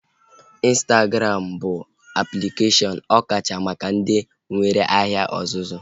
Ịnstagram bụ aplikeshọn ọkacha maka ndị nwee ahịa ọzụzụ